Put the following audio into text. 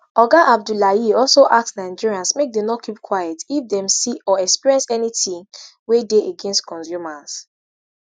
oga abdullahi also ask nigerians make dem no keep quiet if dem see or experience anytin wey dey against consumers